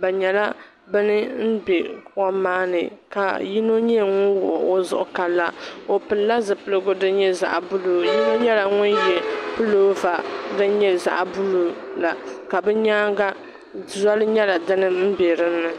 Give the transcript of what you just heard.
bɛ nyɛla bɛ ni be kom maa ni ka yino nyɛ ŋun wuɣi o zuɣu kom maa ni ka la o pilila zupiligu din nyɛ zaɣb́uluu yino nyɛla ŋun ye pulova din nyɛ zaɣb́uluu la ka bɛ nyaanga voli nyɛla din be di ni